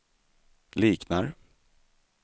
liknar